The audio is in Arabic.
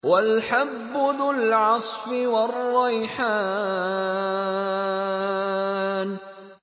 وَالْحَبُّ ذُو الْعَصْفِ وَالرَّيْحَانُ